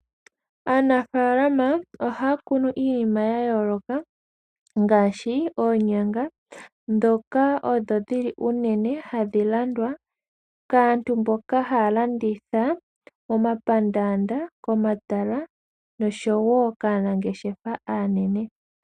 Aanafalama ohaya kunu iinima ya yooloka ngaashi oonyanga ndhoka odho dhili unene hadhi landwa kaantu mboka haya landitha momapandanda komatala noshowo kaanangeshefa aanene.